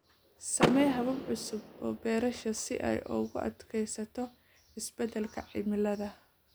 Samee habab cusub oo beerasho si ay ugu adkeysato isbedelka cimilada.